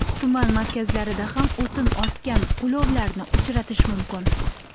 Tuman markazlarida ham o‘tin ortgan ulovlarni uchratish mumkin.